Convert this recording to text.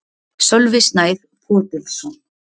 Sölvi Snær Fodilsson